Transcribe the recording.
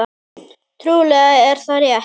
Trúlega er það rétt.